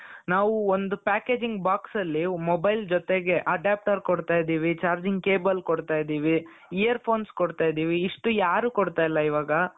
ನಾವು ಒಂದು packaging boxಅಲ್ಲಿ mobile ಜೊತೆಗೆ adapter ಕೊಡ್ತಾ ಇದ್ದೀವಿ charging ಕೇಬಲ್ ಕೊಡ್ತಾ ಇದ್ದೀವಿ ear phones ಕೊಡ್ತಾ ಇದ್ದೀವಿ ಇಷ್ಟು ಯಾರೂ ಕೊಡ್ತಾ ಇಲ್ಲಾ ಇವಾಗ.